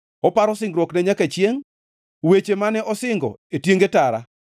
Oparo singruokne nyaka chiengʼ, weche mane osingo e tienge tara,